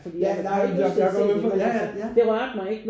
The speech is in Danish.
Ja nej men men jeg går med på det ja ja